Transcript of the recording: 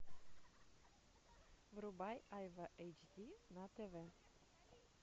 врубай айва эйч ди на тв